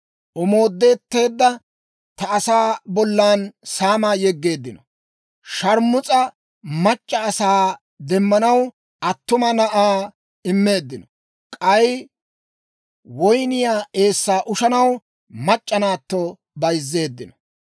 omoodeteedda ta asaa bollan saamaa yeggeeddino; sharmus'a mac'c'a asaa demmanaw, attuma na'aa immeeddino; k'ay woyniyaa eessaa ushanaw, mac'c'a naatto bayzzeeddino.